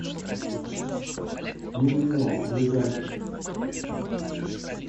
мимино ближайший